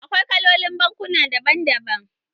Akwai kalolin bankuna daban daban.